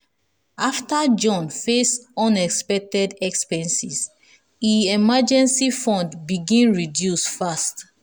after john face unexpected expenses e emergency fund begin reduce fast.